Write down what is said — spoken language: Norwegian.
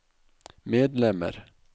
medlemmer